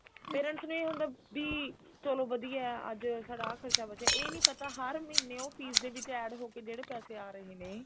parents ਨੇ ਹੁਣ ਵੀ ਚਲੋ ਵਧੀਆ ਵੀ ਅੱਜ ਸਾਡਾ ਆਹ ਖਰਚਾ ਬਚਿਆ ਪਰ ਇਹ ਨੀ ਪਤਾ ਹਰ ਮਹੀਨੇ ਉਹ fees ਦੇ ਵਿੱਚ add ਹੋ ਕੇ ਜਿਹੜੀ ਪੈਸੇ ਆ ਰਹੇ ਨੇ